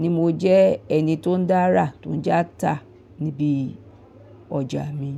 ni mo jẹ́ ẹni tó ń dára tún jẹ́ ata níbi ọjà mi.